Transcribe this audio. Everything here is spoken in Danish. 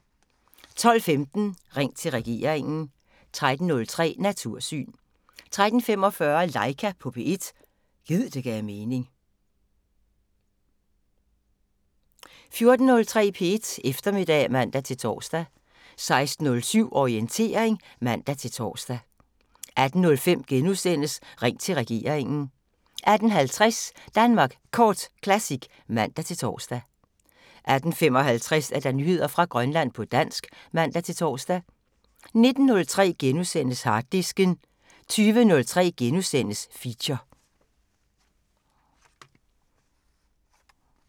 12:15: Ring til regeringen 13:03: Natursyn 13:45: Laika på P1 – gid det gav mening 14:03: P1 Eftermiddag (man-tor) 16:07: Orientering (man-tor) 18:05: Ring til regeringen * 18:50: Danmark Kort Classic (man-tor) 18:55: Nyheder fra Grønland på dansk (man-tor) 19:03: Harddisken * 20:03: Feature *